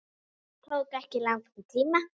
Það tók ekki langan tíma.